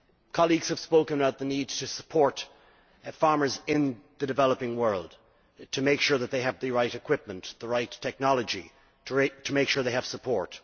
Colleagues have spoken about the need to support farmers in the developing world, to make sure that they have the right equipment, the right technology, to make sure they have support.